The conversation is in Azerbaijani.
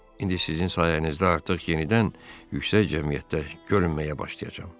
İndi sizin sayənizdə artıq yenidən yüksək cəmiyyətdə görünməyə başlayacağam.